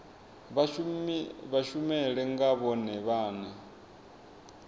vha dishumele nga vhone vhane